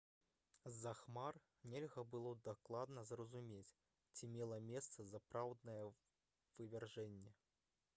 з-за хмар нельга было дакладна зразумець ці мела месца сапраўднае вывяржэнне